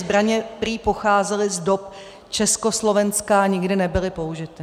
Zbraně prý pocházely z dob Československa a nikdy nebyly použity.